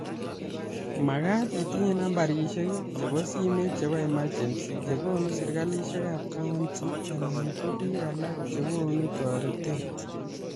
Makaat itinye nambarishek chebo simet chebo emergency chekonu serikalishekab kaunti anan ko biik alak chekonu toretet